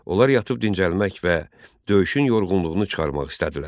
Onlar yatıb dincəlmək və döyüşün yorğunluğunu çıxarmaq istədilər.